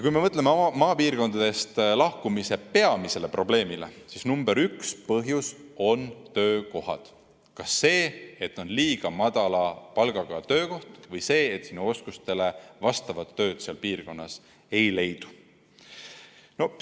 Kui me mõtleme maapiirkondadest lahkumise peamisele põhjusele, siis nr 1 põhjus on töökohad, kas seal on liiga madala palgaga töökohad või oskustele vastavat tööd seal piirkonnas ei leidu.